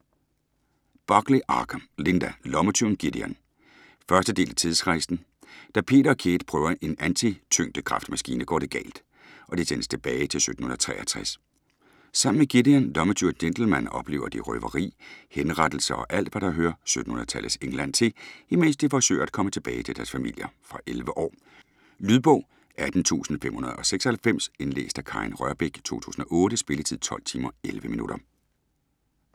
Buckley-Archer, Linda: Lommetyven Gideon 1. del af Tidsrejsen. Da Peter og Kate prøver en antityngdekraftmaskine går det galt, og de sendes tilbage til 1763. Sammen med Gideon, lommetyv og gentleman, oplever de røveri, henrettelser og alt hvad der hører 1700-tallets England til, imens de forsøger at komme tilbage til deres familier. Fra 11 år. Lydbog 18596 Indlæst af Karin Rørbech, 2008. Spilletid: 12 timer, 11 minutter.